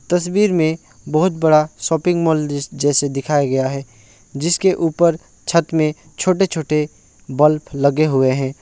तस्वीर में बहोत बड़ा शॉपिंग मॉल जैसे दिखाया गया हैं जिसके ऊपर छत में छोटे छोटे बल्ब लगे हुए है।